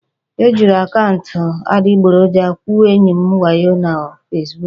E jiri akaụntụ adịgboroja gwuo enyi m wayo na Fesbuku